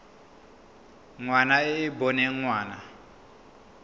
ngwana e e boneng ngwana